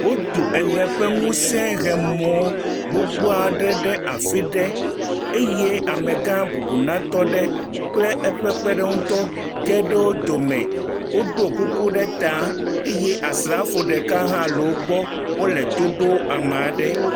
Wotu eʋe ƒe ŋusẽhemɔ gbogbo aɖe ɖe afi ɖe eye amegã bubunatɔ aɖe kple eƒe kpeɖeŋutɔ geɖe wo dome. Woɖo kuku ɖe ta eye asrafo ɖeka hã le wo gbɔ wole to ɖom ame aɖe.